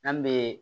N'an bee